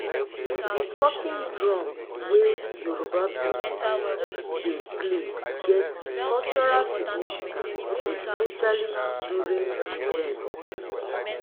di talking drum wey yoruba people dey play get cultural significance especially during events